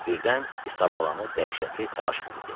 Birdən Isabalanı dəhşətli təlaş bürüdü.